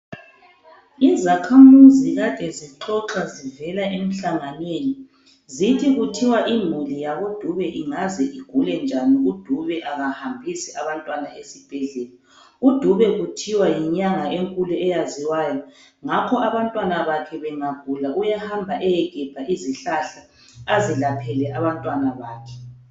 Izakhamuzi kade zixoxa zivela emhlanhanweni. Zithi kuthiwa imuli yakoDube ingaze igule njani uDube kahambisi abantwana esibhedlela. UDube kuthiwa yinyanga enkulu eyaziwayo ngakho ke abantwana bakhe bangagula uyahamba ayegebha izihlahla azelaphele abantwana bakhe.